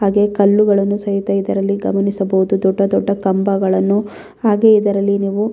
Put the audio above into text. ಹಾಗೆ ಕಲ್ಲುಗಳನ್ನು ಸಹಿತ ಇದರಲ್ಲಿ ಗಮನಿಸಬಹುದು ದೊಡ್ಡ ದೊಡ್ಡ ಕಂಬಗಳನ್ನು ಹಾಗೆ ಇದರಲ್ಲಿ ನೀವು --